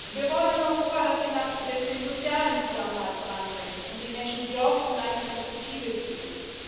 Wir wollen ein Europa, das den sozialen Zusammenhalt voranbringt und den Menschen Jobs und eine Perspektive bietet.